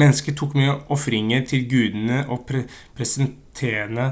mennesker tok med ofringer til gudene og prestene